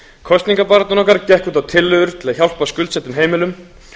kosningabarátta okkar gekk út á tillögur til að hjálpa skuldsettum heimilum